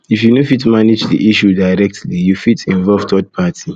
if you no fit manage di issue directly you fit involve third party